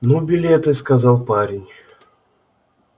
ну билеты сказал парень